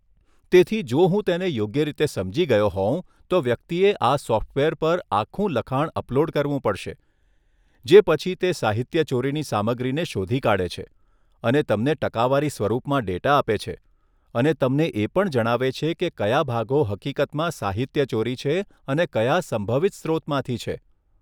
તેથી, જો હું તેને યોગ્ય રીતે સમજી ગયો હોઉં, તો વ્યક્તિએ આ સોફ્ટવેર પર આખું લખાણ અપલોડ કરવું પડશે, જે પછી તે સાહિત્યચોરીની સામગ્રીને શોધી કાઢે છે અને તમને ટકાવારી સ્વરૂપમાં ડેટા આપે છે, અને તમને એ પણ જણાવે છે કે કયા ભાગો હકીકતમાં સાહિત્યચોરી છે અને કયા સંભવિત સ્રોતમાંથી છે.